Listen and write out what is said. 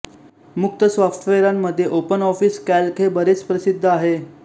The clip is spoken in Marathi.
मुक्त सॉफ्टवेरांमध्ये ओपन ऑफिस कॅल्क हे बरेच लोकप्रिय आहे